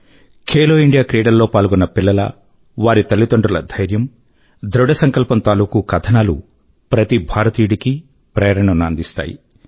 Khelo India క్రీడల లో పాల్గొన్న పిల్లల వారి తల్లిదండ్రుల ధైర్యం ధృఢ సంకల్పం తాలూకూ కథనాలు ప్రతి భారతీయుడి కీ ప్రేరణ ను అందిస్తాయి